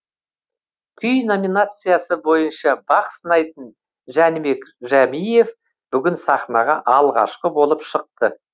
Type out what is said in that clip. күй номинациясы бойынша бақ сынайтын жәнібек жәмиев бүгін сахнаға алғашқы болып шықты